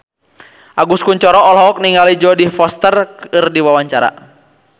Agus Kuncoro olohok ningali Jodie Foster keur diwawancara